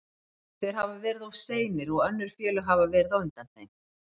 Þeir hafa verið of seinir og önnur félög hafa verið á undan þeim.